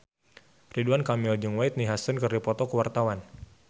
Ridwan Kamil jeung Whitney Houston keur dipoto ku wartawan